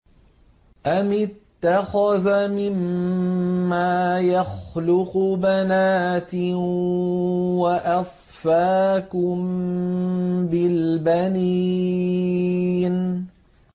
أَمِ اتَّخَذَ مِمَّا يَخْلُقُ بَنَاتٍ وَأَصْفَاكُم بِالْبَنِينَ